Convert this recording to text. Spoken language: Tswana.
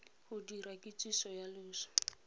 go dira kitsiso ya loso